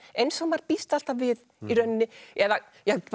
eins og maður býst alltaf við eða